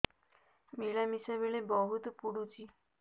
ମିଳାମିଶା ବେଳେ ବହୁତ ପୁଡୁଚି